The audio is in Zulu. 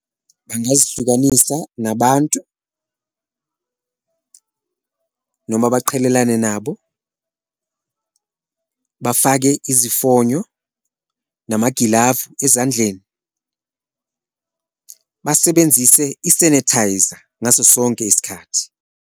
Bangazihlukanisa nabantu noma baqhelelane nabo, bafake izifonyo, namagilavu ezandleni, basebenzise i-sanitizer ngaso sonke isikhathi.